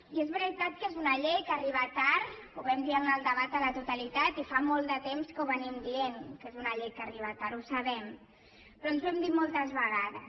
i és veritat que és una llei que arriba tard ho vam dir en el debat a la totalitat i fa molt de temps que diem que és una llei que arriba tard ho sabem però ens ho hem dit moltes vegades